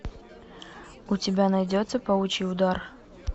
у тебя найдется паучий удар